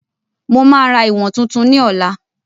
Mo máa ra ìwọ̀n tuntun ni ọ̀la